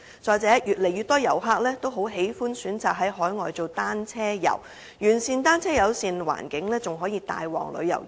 再者，越來越多遊客喜歡選擇在海外進行單車遊，完善的單車友善環境更可帶旺旅遊業。